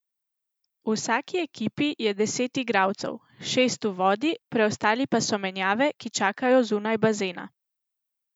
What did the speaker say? V vsaki ekipi je deset igralcev, šest v vodi, preostali pa so menjave, ki čakajo zunaj bazena.